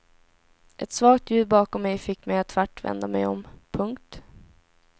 Ett svagt ljud bakom mig fick mig att tvärt vända mig om. punkt